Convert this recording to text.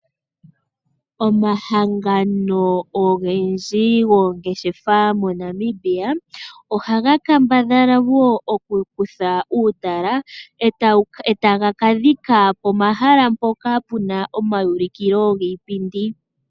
Omahangano ogendji goongeshefa moNamibia, oha ga kambadhalawo okukutha uutala e taga kadhika pomahala mpoka pu na omaulikilo giipindi.